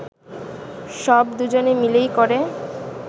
সব দুজনে মিলেই করে